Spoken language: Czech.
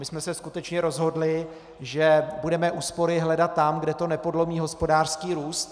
My jsme se skutečně rozhodli, že budeme úspory hledat tam, kde to nepodlomí hospodářský růst.